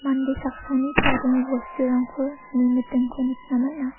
mande saksani chadenge bosturangko nimitingko nikna man·a.